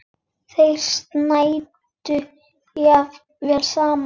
Þeir snæddu jafnvel saman.